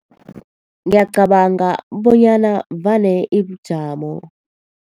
Ngiyacabanga bonyana vane ibujamo.